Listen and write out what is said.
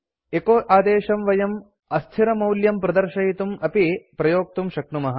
एचो आदेशं वयम् अस्थिरमौल्यं प्रदर्शयितुम् अपि प्रयोक्तुं शक्नुमः